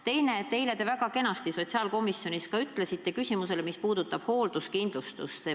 Teiseks: eile te väga kenasti sotsiaalkomisjonis vastasite küsimusele, mis puudutas hoolduskindlustust.